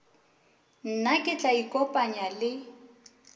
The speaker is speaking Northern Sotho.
nna ke tla ikopanya le